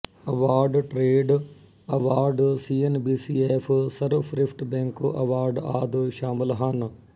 award trade award C N B C F ਸਰਵਸ੍ਰੇਸ਼ਠ bank award ਆਦਿ ਸ਼ਾਮਿਲ ਹਨ